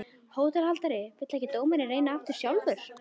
HÓTELHALDARI: Vill ekki dómarinn reyna sjálfur?